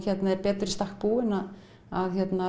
er betur í stakk búinn að